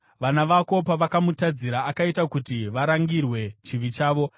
Vana vako pavakamutadzira, akaita kuti varangirwe chivi chavo.